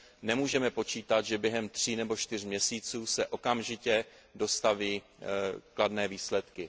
Nemůžeme počítat, že během tří nebo čtyř měsíců se okamžitě dostaví kladné výsledky.